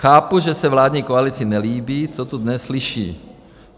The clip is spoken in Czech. Chápu, že se vládní koalici nelíbí, co tu dnes slyší.